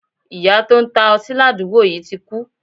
Iyá to n ta oti ladugbo yi ti kú